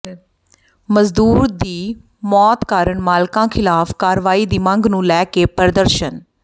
ਮਜ਼ਦੂਰ ਦੀ ਮੌਤ ਕਾਰਨ ਮਾਲਕਾਂ ਿਖ਼ਲਾਫ਼ ਕਾਰਵਾਈ ਦੀ ਮੰਗ ਨੂੰ ਲੈ ਕੇ ਪ੍ਰਦਰਸ਼ਨ